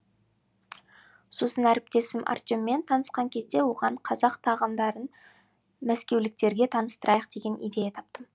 сосын әріптесім артеммен танысқан кезде оған қазақ тағамдарын мәскеуліктерге таныстырайық деген идея таптым